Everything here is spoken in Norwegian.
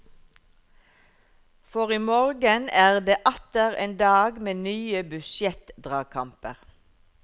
For i morgen er det atter en dag med nye budsjettdragkamper.